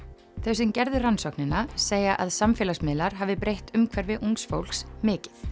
þau sem gerðu rannsóknina segja að samfélagsmiðlar hafi breytt umhverfi ungs fólks mikið